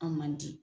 An man di